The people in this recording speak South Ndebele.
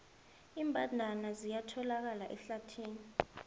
iimbandana ziyatholakala ehlathini